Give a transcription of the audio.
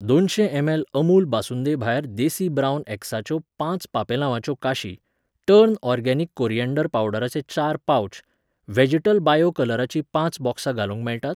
दोनशें एम.एल. अमूल बासुंदेभायर देसी ब्रावन एग्साच्यो पांच पांपेलावाच्यो काशी, टर्न ऑर्गेनिक कॉरियँडर पावडराचे चार पाव्च, व्हॅजिटल बायो कलराचीं पांच बॉक्सां घालूंक मेळटात?